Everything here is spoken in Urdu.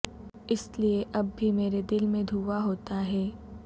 اس لئے اب بھی مرے دل میں دھواں ہوتا ہے